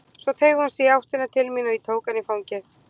Svo teygði hún sig í áttina til mín og ég tók hana í fangið.